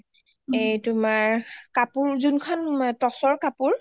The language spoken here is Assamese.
এ তোমাৰ কাপোৰ যোন খন টচৰ কাপোৰ